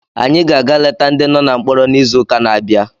Anyị ga-aga leta ndị nọ na mkpọrọ n'izuụka na-abịa